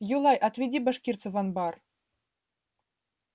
юлай отведи башкирца в анбар